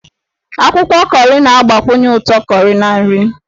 Akwụkwọ kọrị na-agbakwunye ụtọ kọrị na nri.